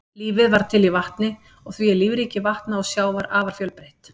Lífið varð til í vatni og því er lífríki vatna og sjávar afar fjölbreytt.